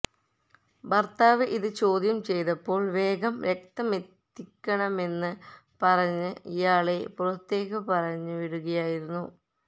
ഭർത്താവ് ഇത് ചോദ്യം ചെയ്തപ്പോൾ വേഗം രക്തമെത്തിക്കണമെന്ന് പറഞ്ഞ് ഇയാളെ പുറത്തേക്കു പറഞ്ഞു വിടുകയായിരുന്നു